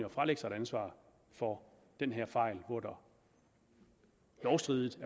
at fralægge sig et ansvar for den her fejl hvor der lovstridigt